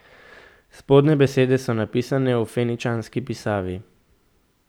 Spodnje besede so napisane v feničanski pisavi.